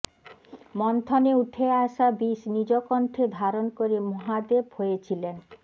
মন্থনে উঠে আসা বিষ নিজ কণ্ঠে ধারণ করে মহাদেব হয়েছিলেন